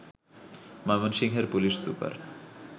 ময়মনসিংহের police super